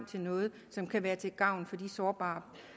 til noget som kan være til gavn for de sårbare